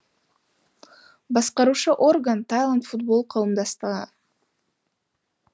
басқарушы орган тайланд футбол қауымдастығы